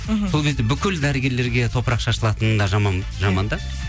мхм сол кезде бүкіл дәрігерлерге топырақ шашылатыны да жаман да